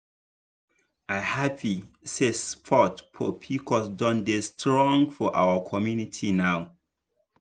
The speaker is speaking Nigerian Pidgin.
i happy say support for pcos don dey strong for our community now.